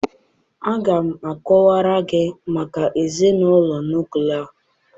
Aga m akọwara gị maka ezinụlọ nuklia